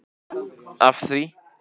af því.